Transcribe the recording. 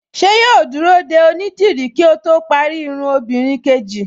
Ṣé yóò dúró de onídìrí kí ó parí irun obìnrin kejì